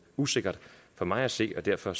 usikkert for mig at se derfor